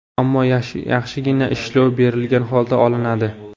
Ammo yaxshigina ishlov berilgan holda olinadi.